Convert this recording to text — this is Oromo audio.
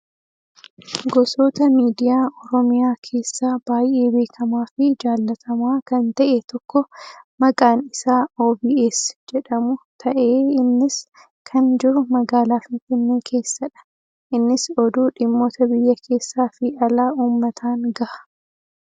Gosoota miidiyaa oromiyaa keessaa baay'ee beekamaa fi jaallatamaa kan ta'e tokko kan maqaan isaa "OBS" jedhamu ta'ee innis kan jiru magaalaa finfinnee keessadha. Innis oduu dhimmoota biyya keessaa fi alaa uummataan gaha.